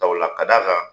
ka d'a kan